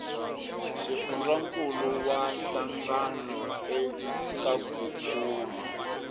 xifundzankuluwa hlangano eka ku kuma